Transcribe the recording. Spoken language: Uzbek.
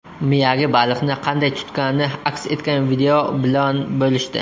Miyagi baliqni qanday tutgani aks etgan video bilan bo‘lishdi.